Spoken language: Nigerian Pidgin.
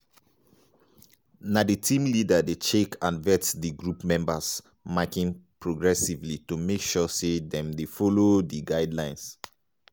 na di team leader dey check and vet di group members marking progressively to make sure say dem dey follow di guidelines.